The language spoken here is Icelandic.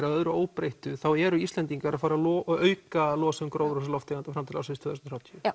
að öðru óbreyttu þá eru Íslendingar að fara að auka losun gróðurhúsalofttegunda fram til ársins tvö þúsund og þrjátíu